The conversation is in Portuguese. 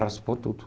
Raspou tudo.